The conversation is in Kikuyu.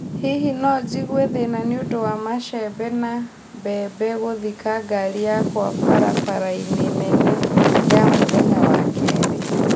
Hihi no njigue thĩĩna nĩ ũndũ wa machembe ma mbembe gũthika ngaari yakwa barabara-inĩ nene ya mũthenya wa keerĩ